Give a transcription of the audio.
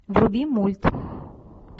вруби мульт